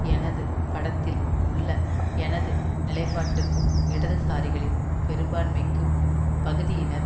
எனது படத்தில் உள்ள எனது நிலைப்பாட்டுக்கும் இடதுசாரிகளின் பெரும்பான்மைக்கு பகுதியினர்